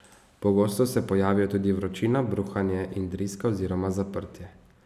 Pogosto se pojavijo tudi vročina, bruhanje in driska oziroma zaprtje.